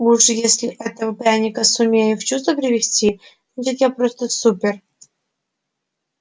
уж если этого пряника сумею в чувство привести значит я просто супер